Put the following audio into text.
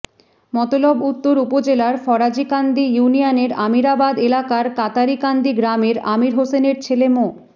মতলব উত্তর উপজেলার ফরাজীকান্দি ইউনিয়নের আমিরাবাদ এলাকার কাতারিকান্দি গ্রামের আমির হোসেনের ছেলে মো